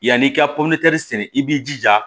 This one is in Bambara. Yan'i ka sɛnɛ i b'i jija